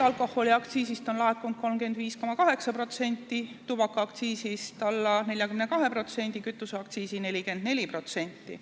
Alkoholiaktsiisist on laekunud 35,8%, tubakaaktsiisist alla 42%, kütuseaktsiisi 44%.